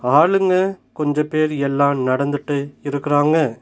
ஆளுங்க கொஞ்ச பேர் எல்லா நடந்துட்டு இருக்கராங்க.